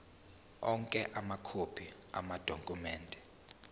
onke amakhophi amadokhumende